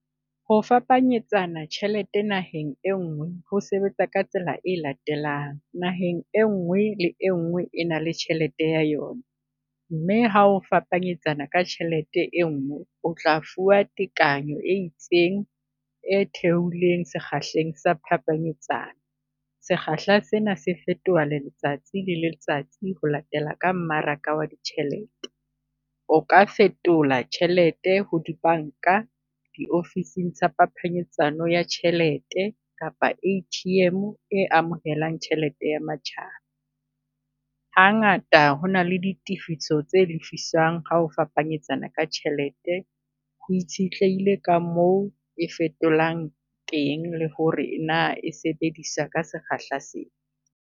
Ho fapanyetsana tjhelete naheng e nngwe ho sebetsa ka tsela e latelang. Naheng e nngwe le e nngwe e na le tjhelete ya yona, mme ha o fapanyetsana ka tjhelete e ngwe o tla fuwa tekanyo e itseng e theohileng sekgahleng sa phapanyetsano. Sekgahla sena se fetoha le letsatsi le letsatsi ho latela ka mmaraka wa ditjhelete. O ka fetola tjhelete ho di banka, diofising tsa phapanyetsano ya tjhelete kapa A_T_M e amohelang tjhelete ya matjhaba. Ha ngata ho na le di tifiso tse lefisang ha o fapanyetsana ka tjhelete, ho itshetlehile ka moo e fetolang teng le ho re na e sebedisa ka sekgahla se.